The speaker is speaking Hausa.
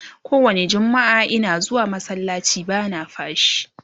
kowani jummaa Ina zuwa masallaci bana fashii